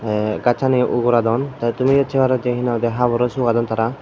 te gachani uguradon te tumiyo se parode he nang hoide haboro sugadon tara.